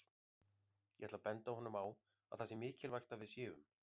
Ég ætla að benda honum á að það sé mikilvægt að við séum